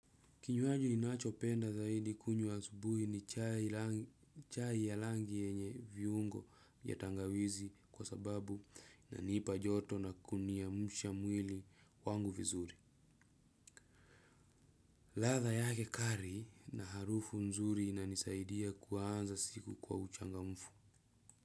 Kinywaji ninachopenda zaidi kunywa asubui ni chai ya rangi yenye viungo ya tangawizi kwa sababu inanipa joto na kuniamsha mwili wangu vizuri. Ladha yake kali na harufu nzuri inanisaidia kuanza siku kwa uchangamfu.